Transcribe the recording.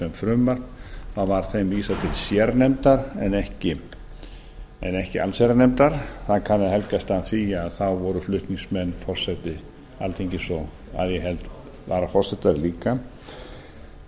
til meðferðar sem frumvarp vísað til sérnefndar en ekki allsherjarnefndar það kann að helgast af því að þá voru flutningsmenn forseti alþingis og að ég held varaforsetar líka